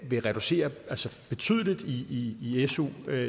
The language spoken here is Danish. vil reducere betydeligt i i su